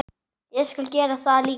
Ég skal gera það líka.